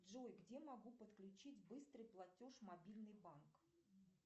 джой где могу подключить быстрый платеж мобильный банк